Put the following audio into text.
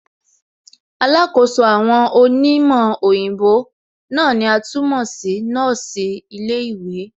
Alákòóso àwọn òní òyìnbó náà ni a tún mọ̀ sí nọ́ọ̀sì ilé ìwé